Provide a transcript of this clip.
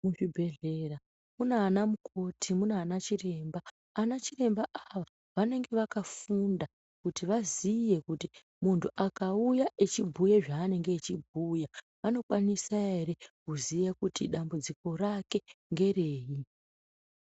Muzvibhedhlera munanamukoti, muna anachiremba. Ana chiremba ava vanenge vakafunda kuti vaziye kuti muntu akauya echibhuye zveanenge echibhuya, vanokwanisa ere kuziya kuti dambudziko rake ngereyi.